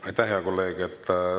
Aitäh, hea kolleeg!